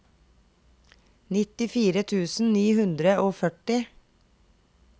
nittifire tusen ni hundre og førti